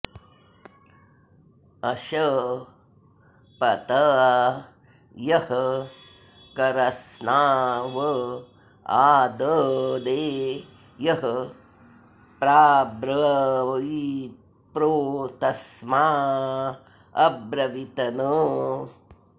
अश॑पत॒ यः क॒रस्नं॑ व आद॒दे यः प्राब्र॑वी॒त्प्रो तस्मा॑ अब्रवीतन